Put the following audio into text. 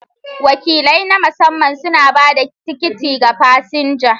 Wakilai na masamman suna ba da tikiti ga fasinjoji.